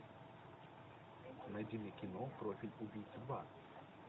найди мне кино профиль убийцы два